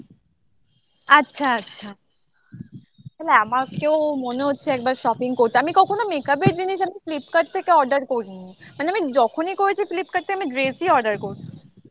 আচ্ছা আচ্ছা তাহলে আমাকেও মনে হচ্ছে একবার shopping করতে আমি কখনো makeup র জিনিস আমি থেকে order করিনি মানে আমি যখনই করেছি flipkart টা আমি dress ই order করি